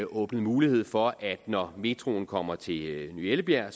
åbnet mulighed for at når metroen kommer til ny ellebjerg